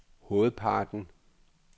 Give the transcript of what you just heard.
hovedparten